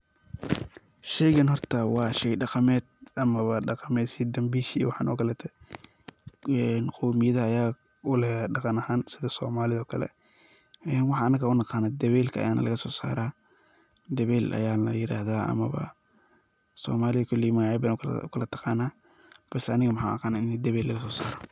sheygan horta waa sheey dhaqameed ama waa dhaqamed sidii dambisha waxan okalete. qoomiyadaha aya uleh dhaqan ahan sidii soomalida oo kale, waxan anaga unaqano dabeelka ayana lagaso saara, dabeel ayana la yirahda amaba soomali koley magacya badan ayay ukala taqana balse aniga waxan u aqana ini dabeel lagaso saaro